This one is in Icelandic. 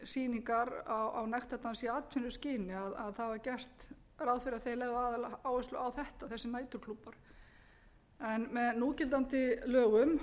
sýningar á nektardansi í atvinnuskyni það var gert ráð fyrir að þessir næturklúbbar legðu aðaláherslu á þetta með núgildandi lögum